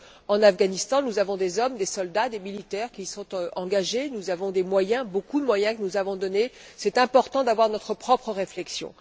En Afghanistan, nous avons des hommes, des soldats, des militaires qui sont engagés, nous avons des moyens, beaucoup de moyens que nous avons donnés, et il est important d'avoir notre propre réflexion.